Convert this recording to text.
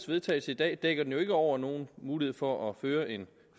vedtagelse i dag dækker det jo ikke over nogen mulighed for at føre en